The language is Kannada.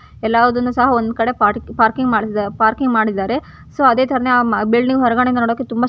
ಎಲ್ಲದನ್ನು ಸಹ ಒಂದು ಕಡೆ ಪಾರ್ಕಿಂಗ್ ಪಾರ್ಕಿಂಗ್ ಮಾಡಿದಾರೆ ಸೊ ಅದೇ ತರಹನೇ ಆ ಬಿಲ್ಡಿಂಗ್ ಹೊರಗಡೆ ನೋಡೋಕೆ ತುಂಬಾ --